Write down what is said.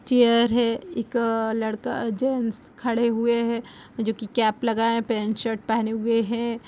Chair है एक लड़का जेंट्स खड़े हुए हैं जो की कैप लगाए है पैंट शर्ट पहने हुए हैं।